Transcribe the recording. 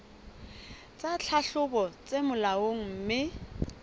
tsa tlhahlobo tse molaong mme